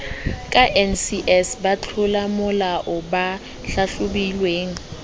ka ncs batlolamolao ba hlahlobilweng